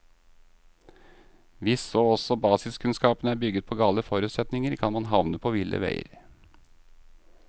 Hvis så også basiskunnskapene er bygget på gale forutsetninger, kan man havne på ville veier.